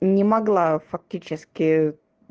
не могла фактически